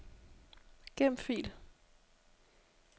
Gem fil.